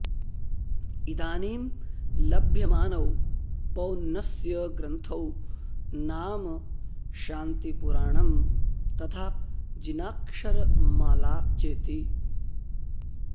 इदानीं लभ्यमानौ पोन्नस्य ग्रन्थौ नाम शान्तिपुराणं तथा जिनाक्षरमाला चेति